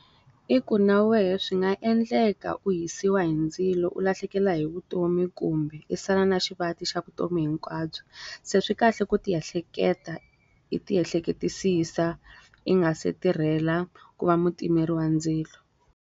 I ku na wehe swi nga endleka u hisiwa hi ndzilo u lahlekela hi vutomi kumbe i sala na xivati xa vutomi hinkwabyo. Se swi kahle ku ti ehleketa i ti ehleketisisa, i nga se tirhela ku va mutimeri wa ndzilo.